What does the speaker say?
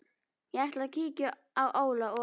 Ég ætla að kíkja á Óla og